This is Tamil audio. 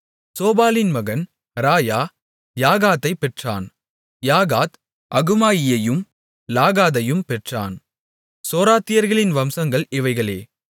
சோபாலின் மகன் ராயா யாகாத்தைப் பெற்றான் யாகாத் அகுமாயியையும் லாகாதையும் பெற்றான் சோராத்தியர்களின் வம்சங்கள் இவைகளே